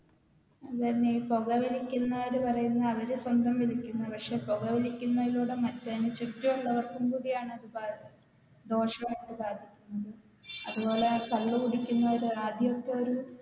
അതെന്നെ ഈ പോകവലിക്കുന്നവര് പറയുന്നേ അവര് സ്വന്തം വലിക്കുന്നേ പക്ഷെ പോകവലിക്കുന്നതിലൂടെ മറ്റ് അയിന് ചുറ്റുമുള്ളർക്കും കൂടിയാണ് അത് ദോഷമായിട്ട് ബാധിക്കുന്നത് അത് പോലെ ആ കള്ള് കുടിക്കുന്നവര് ആദ്യത്തെ ഒര്